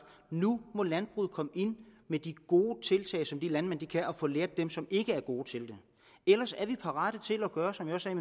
at nu må landbruget komme med de gode tiltag som de landmænd kan og få belært dem som ikke er gode til det ellers er vi parate til at gøre som jeg sagde i